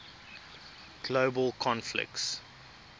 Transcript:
global conflicts